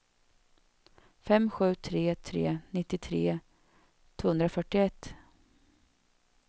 fem sju tre tre nittiotre tvåhundrafyrtioett